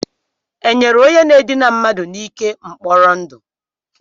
E nyere onye na-edina mmadu n'ike mkpọrọ ndụ?